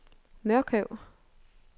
Mørkøv